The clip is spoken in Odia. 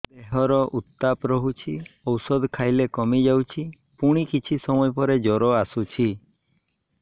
ଦେହର ଉତ୍ତାପ ରହୁଛି ଔଷଧ ଖାଇଲେ କମିଯାଉଛି ପୁଣି କିଛି ସମୟ ପରେ ଜ୍ୱର ଆସୁଛି